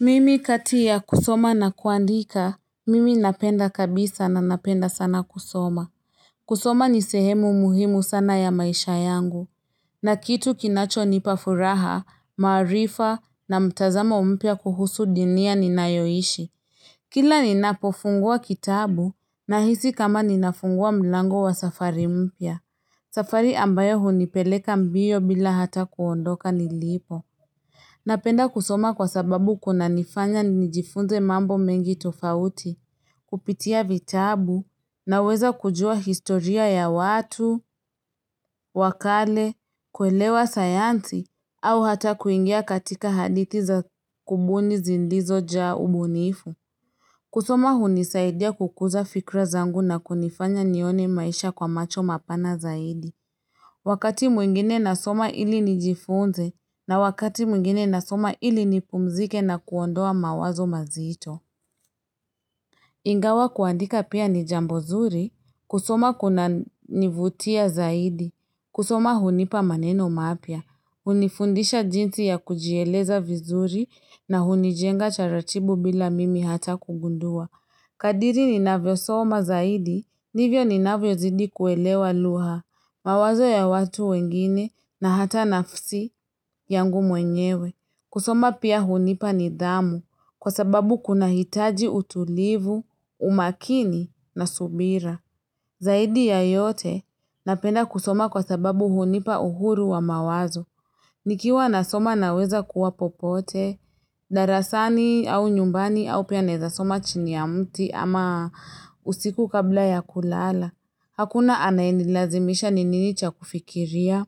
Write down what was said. Mimi kati ya kusoma na kuandika, mimi napenda kabisa na napenda sana kusoma. Kusoma ni sehemu muhimu sana ya maisha yangu. Na kitu kinachonipa furaha, maarifa, na mtazamo mpya kuhusu dunia ninayoishi. Kila ninapofungua kitabu, nahisi kama ninafungua mlango wa safari umpia. Safari ambayo hunipeleka mbio bila hata kuondoka nilipo. Napenda kusoma kwa sababu kunanifanya nijifunze mambo mengi tofauti, kupitia vitabu, naweza kujua historia ya watu, wa kale, kuelewa sayansi, au hata kuingia katika hadithi za kubuni zindizo ja ubunifu. Kusoma hunisaidia kukuza fikra zangu na kunifanya nione maisha kwa macho mapana zaidi. Wakati mwingine nasoma ili nijifunze na wakati mwingine nasoma ili nipumzike na kuondoa mawazo mazito. Ingawa kuandika pia ni jambo zuri, kusoma kunanivutia zaidi, kusoma hunipa maneno mapya, unifundisha jinsi ya kujieleza vizuri na hunijenga taratibu bila mimi hata kugundua. Kadiri ninavyo soma zaidi, ndivyo ninavyo zidi kuelewa lugha. Mawazo ya watu wengine na hata nafsi yangu mwenyewe. Kusoma pia hunipa nidhamu kwa sababu kunahitaji utulivu, umakini na subira. Zaidi ya yote napenda kusoma kwa sababu hunipa uhuru wa mawazo. Nikiwa nasoma naweza kuwa popote, darasani au nyumbani au pia naeza soma chini ya mti ama usiku kabla ya kulala. Hakuna anayenilazimisha ni nini cha kufikiria.